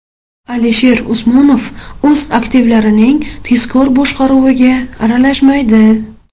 Alisher Usmonov o‘z aktivlarining tezkor boshqaruviga aralashmaydi.